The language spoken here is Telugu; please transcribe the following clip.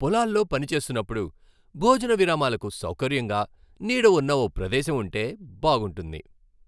పొలాల్లో పని చేస్తున్నప్పుడు భోజన విరామాలకు సౌకర్యంగా నీడ ఉన్న ఓ ప్రదేశం ఉంటే బాగుంటుంది.